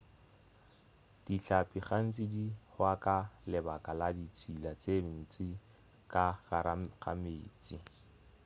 dihlapi gantši di hwa ka lebaka la ditšhila tše ntši ka gare ga meetse